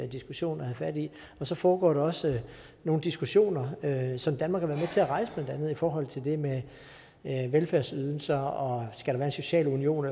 diskussion at have fat i og så foregår der også nogle diskussioner som danmark har til at rejse blandt andet i forhold til det med velfærdsydelser om skal være en social union